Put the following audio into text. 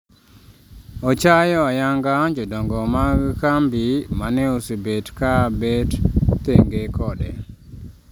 Ochayo ayanga jodongo mag kambi mane osebet ka bet thenge kode